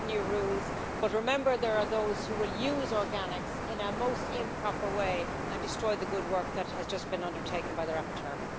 We have new rules, but remember there are those who will use organics in a most improper way and destroy the good work that has just been undertaken by the rapporteur.